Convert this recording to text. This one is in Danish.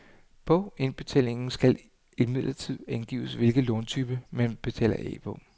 På indbetalingen skal imidlertid angives hvilken låntype, man betaler af på.